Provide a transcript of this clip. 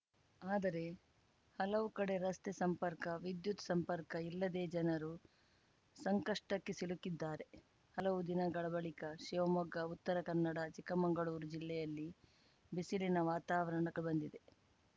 ಆದರೆ ಹಲವು ಕಡೆ ರಸ್ತೆ ಸಂಪರ್ಕ ವಿದ್ಯುತ್‌ ಸಂಪರ್ಕ ಇಲ್ಲದೇ ಜನರು ಸಂಕಷ್ಟಕ್ಕೆ ಸಿಲುಕಿದ್ದಾರೆ ಹಲವು ದಿನಗಳ ಬಳಿಕ ಶಿವಮೊಗ್ಗ ಉತ್ತರ ಕನ್ನಡ ಚಿಕ್ಕಮಂಗಳೂರು ಜಿಲ್ಲೆಗಳಲ್ಲಿ ಬಿಸಿಲಿನ ವಾತಾವರಣ ಕಂಡುಬಂದಿದೆ